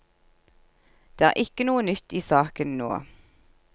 Det er ikke noe nytt i saken nå.